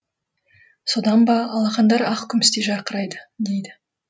содан ба алақандары ақ күмістей жарқырайды дейді